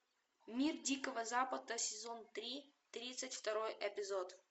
мир дикого запада сезон три тридцать второй эпизод